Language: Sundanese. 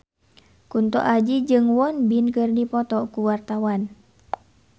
Kunto Aji jeung Won Bin keur dipoto ku wartawan